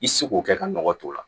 I seko kɛ ka nɔgɔ tɔ la